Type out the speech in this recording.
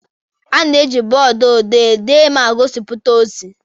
A na-eji bọọdụ odee dee ma gosipụta ozi.